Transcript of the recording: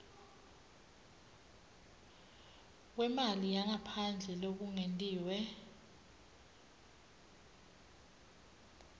kwemali yangaphandle lokungetiwe